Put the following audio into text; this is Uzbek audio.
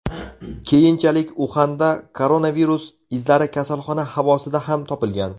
Keyinchalik Uxanda koronavirus izlari kasalxona havosida ham topilgan .